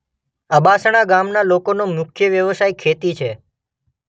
અબાસણા ગામના લોકોનો મુખ્ય વ્યવસાય ખેતી છે.